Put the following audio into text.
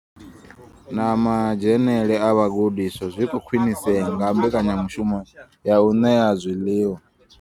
Na madzhenele a vhagudiswa zwi khou khwinisea nga mbekanyamushumo ya u ṋea zwiḽiwa.